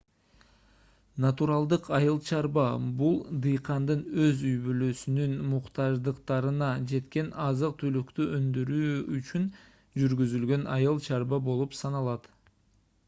натуралдык айыл чарба бул дыйкандын өз үй-бүлөсүнүн муктаждыктарына жеткен азык-түлүктү өндүрүү үчүн жүргүзүлгөн айыл-чарба болуп саналат